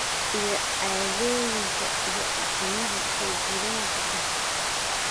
iyo caadooyinka iyo dhaqamada soo jireenka ah